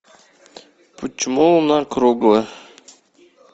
почему луна круглая